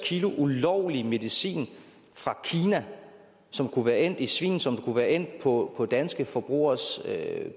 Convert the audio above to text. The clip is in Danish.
kg ulovlig medicin fra kina som kunne være endt i svin som kunne være endt på danske forbrugeres